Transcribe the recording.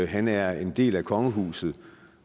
han er en del af kongehuset